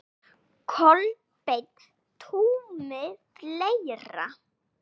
Kolbeinn Tumi Fleira?